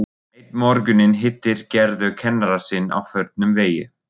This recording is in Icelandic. Einn morguninn hittir Gerður kennara sinn á förnum vegi.